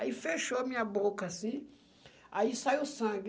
Aí fechou a minha boca, assim, aí saiu sangue.